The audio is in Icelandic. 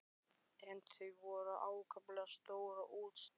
En þau voru ákaflega stór og útstæð.